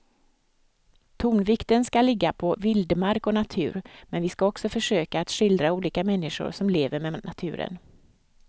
Tonvikten ska ligga på vildmark och natur men vi ska också försöka att skildra olika människor som lever med naturen.